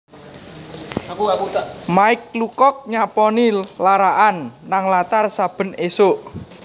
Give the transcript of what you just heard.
Mike Lucock nyaponi lara'an nang latar saben isuk